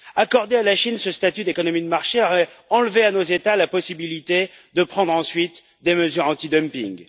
Accorder à la Chine ce statut d'économie de marché aurait enlevé à nos États la possibilité de prendre ensuite des mesures antidumping.